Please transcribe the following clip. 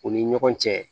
U ni ɲɔgɔn cɛ